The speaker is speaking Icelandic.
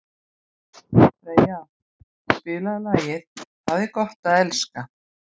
Freyja, spilaðu lagið „Það er gott að elska“.